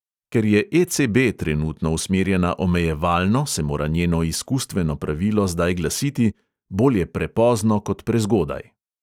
Ker je ECB trenutno usmerjena omejevalno, se mora njeno izkustveno pravilo zdaj glasiti: "bolje prepozno kot prezgodaj."